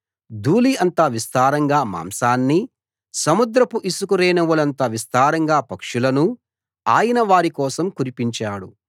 ధూళి అంత విస్తారంగా మాంసాన్నీ సముద్రపు ఇసుక రేణువులంత విస్తారంగా పక్షులనూ ఆయన వారి కోసం కురిపించాడు